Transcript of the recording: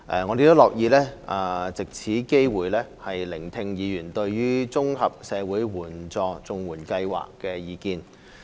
我們亦樂意藉此機會聆聽議員對綜合社會保障援助計劃的意見。